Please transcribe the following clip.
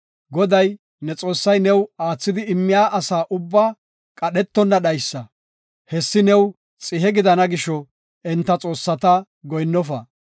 Goday, ne Xoossay new aathidi immiya asa ubbaa qadhetonna dhaysa. Hessi new xihe gidana gisho, enta xoossata goyinnofa.